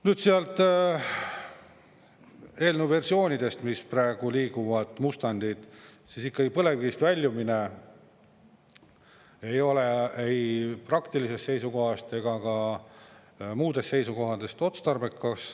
Nüüd sealt eelnõu versioonidest, mis praegu liiguvad, mustandid, siis ikkagi põlevkivist väljumine ei ole ei praktilisest seisukohast ega ka muudest seisukohtadest otstarbekas.